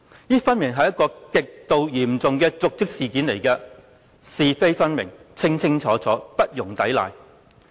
這顯然是極度嚴重的瀆職事件，是非分明，清清楚楚，不容抵賴。